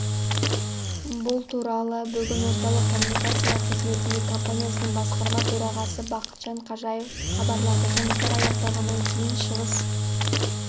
бұл туралы бүгін орталық коммуникациялар қызметінде компаниясының басқарма төрағасы бақытжан қажиев хабарлады жұмыстар аяқталғаннан кейін шығыс